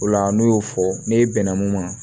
O la n'u y'o fɔ ne bɛnna mun ma